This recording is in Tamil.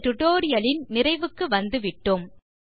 இந்த டியூட்டோரியல் லின் நிறைவுக்கு வந்துவிட்டோம்